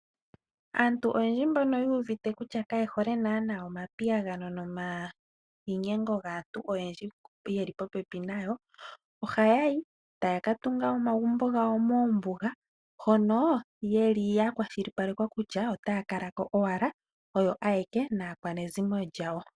Aantu oyendji mbono yuuvite kutya kaaye hole naana omapiyagano nomainyengo gaantu oyendji ye li po pepi nayo, ohaya yi etaya ka tunga omagumbo gawo moombuga hono yeli ya kwashilipalekwa kutya otaya kala ko owala oyo ayeke naakwanezimo lyawo.